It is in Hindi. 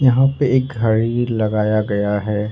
यहां पे एक घड़ी लगाया गया है।